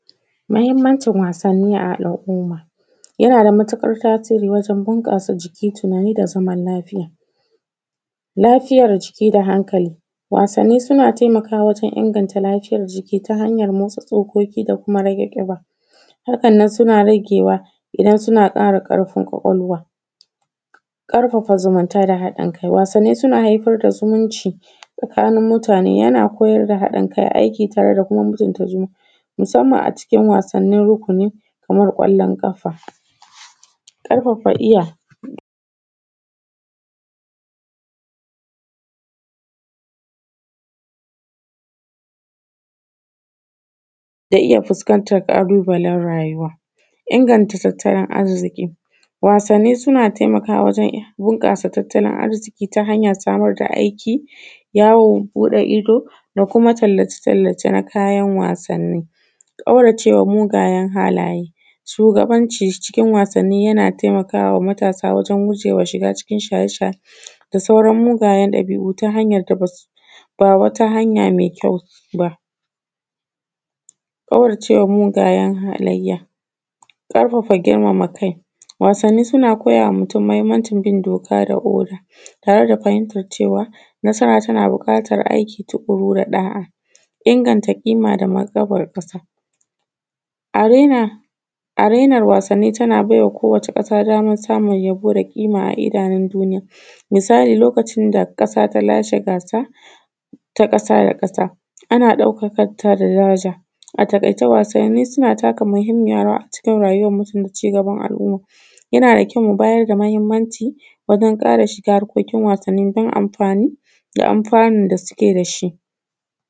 Muhinmancin wassani a al’umma yana da matuƙar tasiri wajen bunƙasa jiki, tunani da zaman lafia, lafiayar jiki da hankali, wasanni suna taimakawa wajen inganta lafiyar jiki ta hanyan motsa tsokoki da kuma rage ƙiba, harkan nan suna ragewa idan suna ƙara ƙarfin kwakwalwa, ƙarfafa zumunta da haɗin kai. Wasanni suna haifar da zumunci tsakanin mutane yana koyar da haɗin kai, aiki da kuma mutunta zumunta musamman a cikin wassan rukuni kaman kwallon ƙafa, ƙarfafa iya da iya fuskantan ƙalubalen rayuwa, inganta tattalin arziki. Wasanni suna taimakawa wajen bunƙasa tattalin arziki ta hanyan samar da aiki, yawon buɗe ido, da kuma tallace-tallace na kayan wasani, ƙaurace ma mugayen halaye. Shugabanci cikin wasanni yana taimakawa matasa wajen gujewa shiga cikin shaye-shaye da sauran mugayen ɗabi’u ta hanyan da ba wata hanya me kyau ba, ƙauracewa mugayen halayya, ƙarfafa girmama kai. Wasanni suna taimakawa mutane, mahinmaci bin doka da oda tare da fahimtan cewa nasara tana buƙatan aiki tuƙuru da ɗa’a, inganta ƙima da martaban ƙasa a renar wasanni, tana bai wa kowata ƙasa daman samun yabo da ƙima a ko wata ƙasa misali lokacin da ƙasa ta lashe wasa ta ƙasa da ƙasa ana ɗaukan ta da daraja. Wasanni suna taka muhinmiyar rawa a cikin rayuwan musulunci da ci gaban al’umma, yana da kyau mu ƙara bada mahinmanci wajen shiga ƙungiyan wasanni don amfani da an fanun da suke da shi.